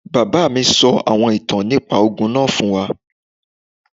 Bàbá mí sọ àwọn ìtàn nípá ogún náà fún wá